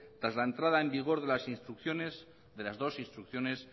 tras la entrada en vigor de las dos instrucciones